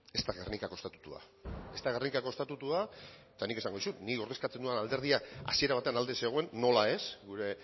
ez da gernikako estatutua ez da gernikako estatutua eta nik esango dizut nik ordezkatzen dudan alderdiak hasiera batean alde zegoen nola ez gure